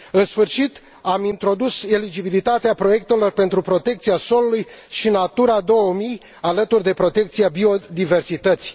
În sfârșit, am introdus eligibilitatea proiectelor pentru protecția solului și Natura 2000, alături de protecția biodiversității.